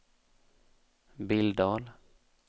Billdal